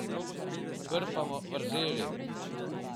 Krpamo vrzeli.